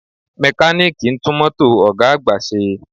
Mẹkáníìkì ń tún mọ́tò ọ̀ga àgbà ṣe